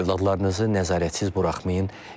Övladlarınızı nəzarətsiz buraxmayın.